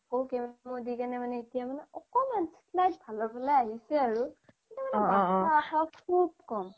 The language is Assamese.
আকৌ chemo দিকেনে এতিয়া মানে একমান slight ভালৰ ফালে আহিছে আৰু কিন্তু মানে বাছি থকাৰ আশা বহুত ক্'ম